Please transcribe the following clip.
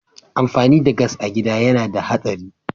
Amfani da gas a gida yana da hatsari.